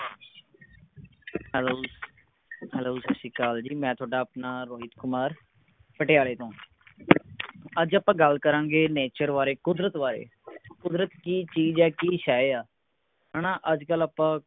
ਲੋ ਜੀ ਸੱਤ ਸ਼੍ਰੀ ਅਕਾਲ ਜੀ ਮੈਂ ਤੁਹਾਡਾ ਆਪਣਾ ਰੋਹਿਤ ਕੁਮਾਰ ਪਟਿਆਲੇ ਤੋਂ ਅੱਜ ਆਪਾਂ ਗੱਲ ਕਰਾਂਗੇ ਨੇਚਰ ਬਾਰੇ ਕੁਦਰਤ ਬਾਰੇ ਕੁਦਰਤ ਕੀ ਚੀਜ਼ ਹੈ ਕੀ ਸ਼ੈਅ ਆ ਹੈ ਨਾ ਅੱਜ ਕੱਲ ਆਪਾਂ।